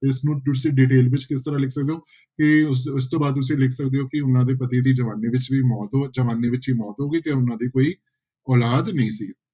ਇਸਨੂੰ ਤੁਸੀਂ detail ਵਿੱਚ ਕਿਸ ਤਰ੍ਹਾਂ ਲਿਖ ਸਕਦੇ ਹੋ ਕਿ ਇਸ ਇਸ ਤੋਂ ਬਾਅਦ ਤੁਸੀਂ ਲਿਖ ਸਕਦੇ ਹੋ ਕਿ ਉਹਨਾਂ ਦੇ ਪਤੀ ਦੀ ਜਵਾਨੀ ਵਿੱਚ ਵੀ ਮੌਤ ਹੋ, ਜਵਾਨੀ ਵਿੱਚ ਹੀ ਮੌਤ ਹੋ ਗਈ ਤੇ ਉਹਨਾਂ ਦੀ ਕੋਈ ਔਲਾਦ ਨਹੀਂ ਸੀ।